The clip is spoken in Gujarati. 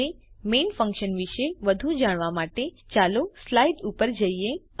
હવે મેઇન ફન્કશન વિષે વધુ જાણવા માટે ચાલો સ્લાઈડ ઉપર જઈએ